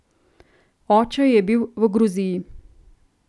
Oče je bil v Gruziji.